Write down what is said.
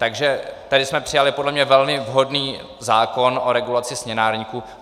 Takže tady jsme přijali podle mě velmi vhodný zákon o regulaci směnárníků.